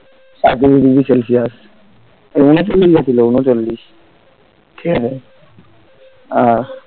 সাঁইত্রিশ degree celsius উনচল্লিশ গেছিল উনচল্লিশ ঠিক আছে আহ